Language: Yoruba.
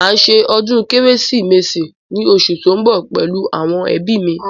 Màá ṣe ọdún kérésìmesì ní osù tó ń bọ̀ pẹ̀lú àwọn ẹbí mi